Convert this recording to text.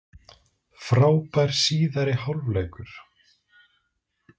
Frábær síðari hálfleikur